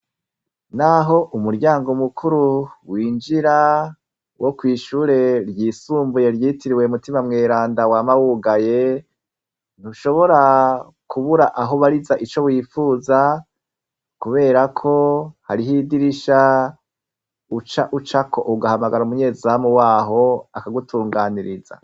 Naho umuryango mukuru winjira wo kwishure ryisumbuye ryitiriwe mutima mweranda wa mawugaye ntushobora kubura ahoubariza ico wifuza, kubera ko hariho idirisha uca ucako ugahamagara umunyezamu wamo aho akagutunganiriza.